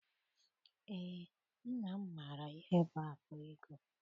Eé, nna m maara ihe bụ akpa ego.